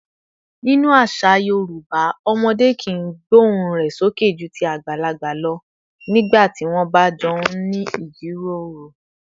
Nínú àṣà Yorùbá, ọmọdé kìí gbóhùn rẹ̀ sókè ju ti àgbàlagbà lọ nígbà tí wọ́n bá jọ ń ní ìjíròrò